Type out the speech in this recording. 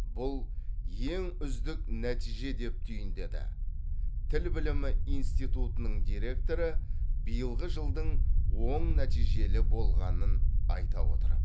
бұл ең үздік нәтиже деп түйіндеді тіл білімі институтының директоры биылғы жылдың оң нәтижелі болғанын айта отырып